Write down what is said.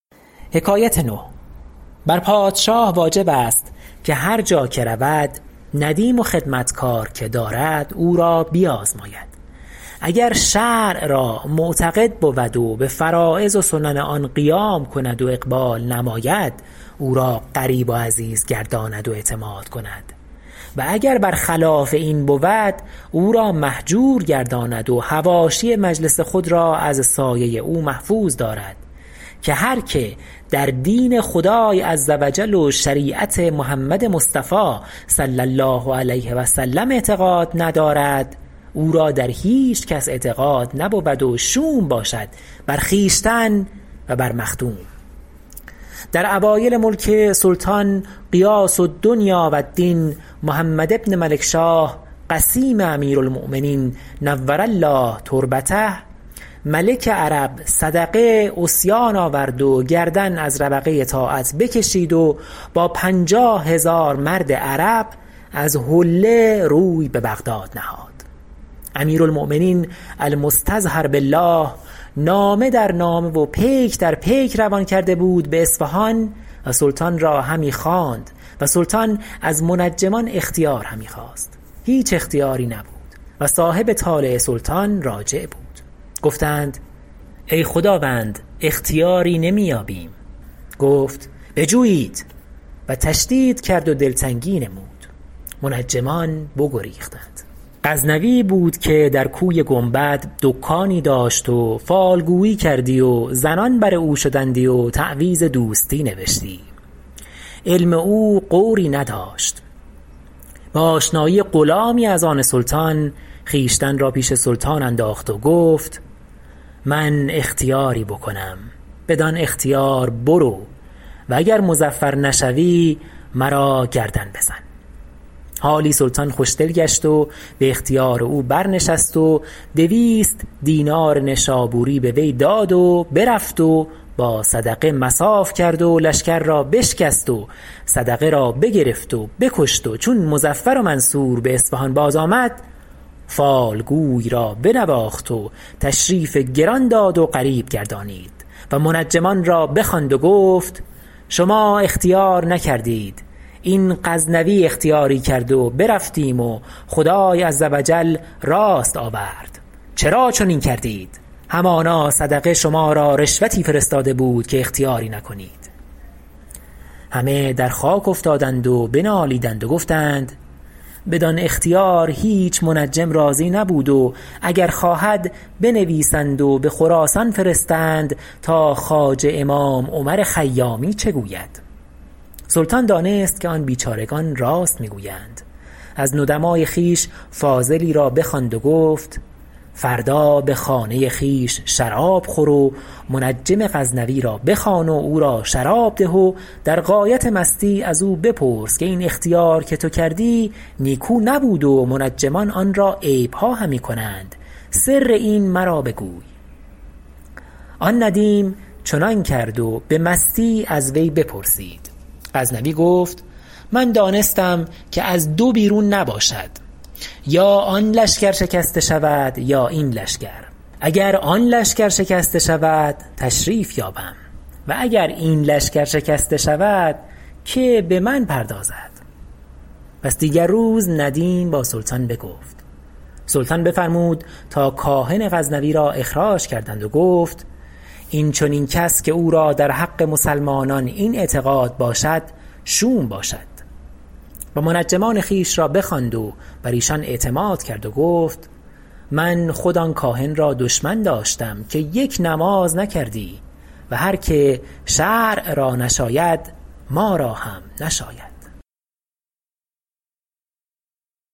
بر پادشاه واجب است که هر جا که رود ندیم و خدمتکار که دارد او را بیازماید اگر شرع را معتقد بود و به فرایض و سنن آن قیام کند و اقبال نماید او را قریب و عزیز گرداند و اعتماد کند و اگر بر خلاف این بود او را مهجور گرداند و حواشی مجلس خود را از سایه او محفوظ دارد که هر که در دین خدای عز و جل و شریعت محمد مصطفی صلعم اعتقاد ندارد او را در هیچکس اعتقاد نبود و شوم باشد بر خویشتن و بر مخدوم در اوایل ملک سلطان غیاث الدنیا و الدین محمد بن ملکشاه قسیم امیرالمؤمنین نور الله تربته ملک عرب صدقه عصیان آورد و گردن از ربقه طاعت بکشید و با پنجاه هزار مرد عرب از حله روی به بغداد نهاد امیرالمؤمنین المستظهر بالله نامه در نامه و پیک در پیک روان کرده بود به اصفهان و سلطان را همی خواند و سلطان از منجمان اختیار همی خواست هیچ اختیاری نبود و صاحب طالع سلطان راجع بود گفتند ای خداوند اختیاری نمی یابیم گفت بجویید و تشدید کرد و دلتنگی نمود منجمان بگریختند غزنوی بود که در کوی گنبد دکانی داشت و فالگویی کردی و زنان بر او شدندی و تعویذ دوستی نوشتی علم او غوری نداشت به آشنایی غلامی از آن سلطان خویشتن را پیش سلطان انداخت و گفت که من اختیاری بکنم بدان اختیار برو و اگر مظفر نشوی مرا گردن بزن حالی سلطان خوش دل گشت و به اختیار او برنشست و دویست دینار نشابوری به وی داد و برفت و با صدقه مصاف کرد و لشکر را بشکست و صدقه را بگرفت و بکشت و چون مظفر و منصور به اصفهان باز آمد فالگوی را بنواخت و تشریف گران داد و قریب گردانید و منجمان را بخواند و گفت شما اختیار نکردید این غزنوی اختیاری کرد و برفتیم و خدای عز و جل راست آورد چرا چنین کردید همانا صدقه شما را رشوتی فرستاده بود که اختیاری نکنید همه در خاک افتادند و بنالیدند و گفتند بدان اختیار هیچ منجم راضی نبود و اگر خواهد بنویسند و به خراسان فرستند تا خواجه امام عمر خیامی چه گوید سلطان دانست که آن بیچارگان راست میگویند از ندماء خویش فاضلی را بخواند و گفت فردا به خانه خویش شراب خور و منجم غزنوی را بخوان و او را شراب ده و در غایت مستی از او بپرس که این اختیار که تو کردی نیکو نبود و منجمان آن را عیبها همی کنند سر این مرا بگوی آن ندیم چنان کرد و به مستی از وی بپرسید غزنوی گفت من دانستم که از دو بیرون نباشد یا آن لشکر شکسته شود یا این لشکر اگر آن لشکر شکسته شود تشریف یابم و اگر این لشکر شکسته شود که به من پردازد پس دیگر روز ندیم با سلطان بگفت سلطان بفرمود تا کاهن غزنوی را اخراج کردند و گفت این چنین کس که او را در حق مسلمانان این اعتقاد باشد شوم باشد و منجمان خویش را بخواند و بر ایشان اعتماد کرد و گفت من خود آن کاهن را دشمن داشتم که یک نماز نکردی و هر که شرع را نشاید ما را هم نشاید